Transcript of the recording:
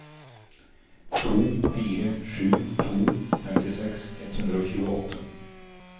to fire sju to femtiseks ett hundre og tjueåtte